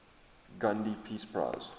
gandhi peace prize